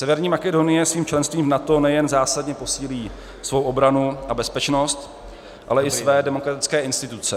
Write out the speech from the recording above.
Severní Makedonie svým členstvím v NATO nejen zásadně posílí svou obranu a bezpečnost, ale i své demokratické instituce.